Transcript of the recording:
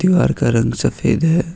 दीवार का रंग सफेद है।